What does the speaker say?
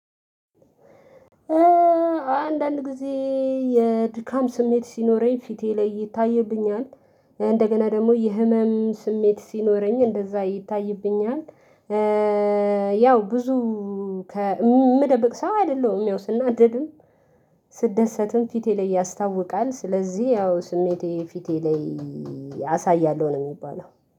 አንዳንድ ጊዜ የድካም ስሜት ሲኖረኝ ፊቴ ላይ ይታይብኛል እንደገና ደግሞ የህመም ስሜት ሲኖረኝ እንደዚያ ይታይብኛል። ያው ብዙ የምደብቅ ሰው አይደለሁም። ያው ስናደድም ስደሰትም ፊቴ ላይ ያስታውቃል። ስለዚህ ያው ስሜቴ ፊቴ ላይ አሳያለሁ ነው የሚባለው